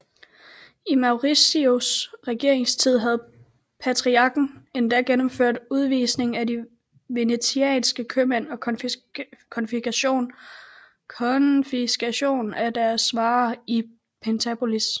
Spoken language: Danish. I Maurizios regeringstid havde patriarken endda gennemført udvisning af de venetianske købmænd og konfiskation af deres varer i Pentapolis